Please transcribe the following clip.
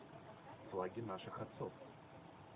флаги наших отцов